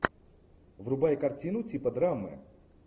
врубай картину типа драмы